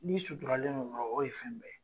N'i suturalen don dɔrɔn, o de ye fɛn bɛɛ ye.